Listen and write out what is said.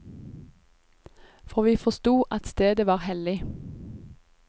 For vi forsto at stedet var hellig.